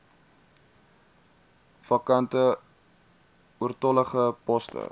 vakante oortollige poste